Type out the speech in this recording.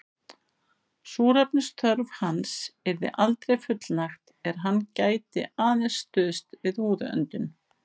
Súrefnisþörf hans yrði aldrei fullnægt er hann gæti aðeins stuðst við húðöndun.